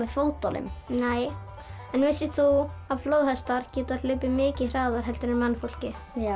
fótunum nei en vissir þú að flóðhestar geta hlaupið mikið hraðar en mannfólkið já